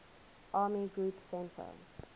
army group centre